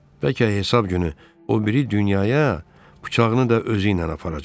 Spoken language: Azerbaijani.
Bəlkə hesab günü o biri dünyaya bıçağını da özü ilə aparacaq,